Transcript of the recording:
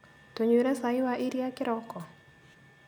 Tũnyuire cai wa iria kĩroko?